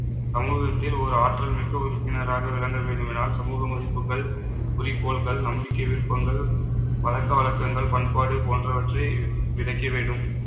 சமூகத்தில் ஒரு ஆற்றல் மிக்க உறுப்பினராக விளங்க வேண்டுமென்றால் சமூக மதிப்புக்கள் குறிக்கோள்கள் நம்பிக்கை விருப்பங்கள் பழக்கவழக்கங்கள் பண்பாடு போன்றவற்றை விதைக்க வேண்டும்